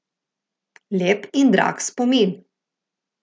Lep in drag spomin.